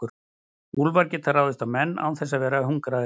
úlfar geta ráðist á menn án þess að vera hungraðir